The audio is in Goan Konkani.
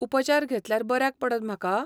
उपचार घेतल्यार बऱ्याक पडत म्हाका?